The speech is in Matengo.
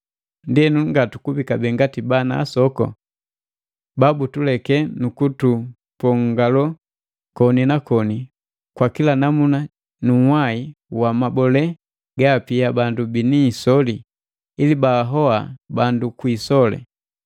Ndienu ngatukubi kabee ngati bana asoku, babutuleke nu kutupongalo koni na koni kwa kila namuna ju unhwai wa mabole gaapia bandu bini isoli ili baahoa bandu kwi isoli.